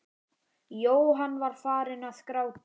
Jóhann var farinn að gráta.